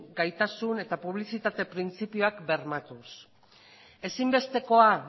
gaitasun eta publizitate printzipioak bermatuz ezinbestekoa